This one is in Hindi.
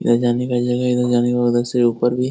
यह जाने का जगह है इधर जाने के बाद अलग से ऊपर भी --